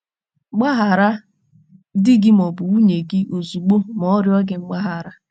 Gbaghara di gị ma ọ bụ nwunye gị ozugbo ma ọ rịọ gị mgbaghara.